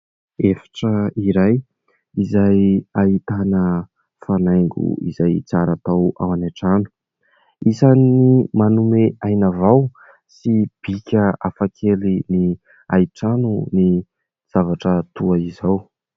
Efitra iray izay ahitana fanaingo izay tsara atao ao an-trano. Isan'ny manome aina vao sy bika hafakely ny hay trano ny zavatra toa izao.